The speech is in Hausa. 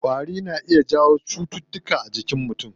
Ƙwari na iya jawo cutuka a jinkin mutum.